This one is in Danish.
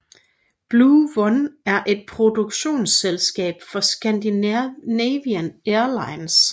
Blue1 er et produktionsselskab for Scandinavian Airlines